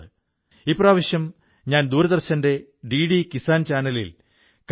ജീവിതത്തിൽ പുതിയ വെല്ലുവിളികളില്ലെങ്കിൽ വ്യക്തിത്വത്തിലെ ശ്രേഷ്ഠത പ്രകടമാവുകയില്ല